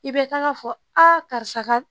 I bɛ kan ka fɔ a karisa ka